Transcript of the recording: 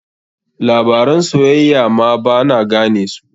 Labaran soyayya ma ba na gane musu.